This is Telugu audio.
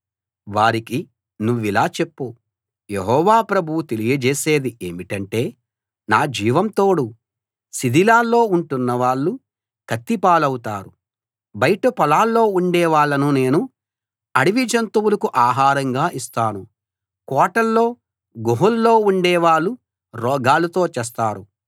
వారికి నువ్విలా చెప్పు యెహోవా ప్రభువు తెలియజేసేది ఏమిటంటే నా జీవం తోడు శిథిలాల్లో ఉంటున్నవాళ్ళు కత్తి పాలవుతారు బయట పొలాల్లో ఉండే వాళ్ళను నేను అడవి జంతువులకు ఆహారంగా ఇస్తాను కోటల్లో గుహల్లో ఉండేవాళ్ళు రోగాలతో చస్తారు